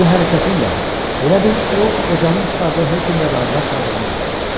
Bu hərəkəti ilə elə bil o qocanın çıxardığı hökmlə razılaşmadığını bildirirdi.